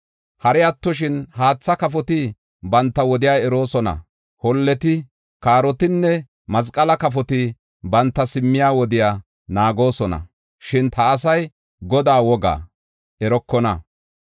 Hari attoshin, haatha kafoti banta wodiya eroosona; holleti, kaarotinne masqala kafoti banta simmiya wodiya naagoosona; shin ta asay Godaa woga erokona.